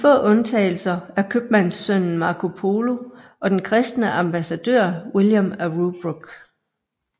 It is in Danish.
De få undtagelser er købmandssønnen Marco Polo og den kristne ambassadør William af Rubruck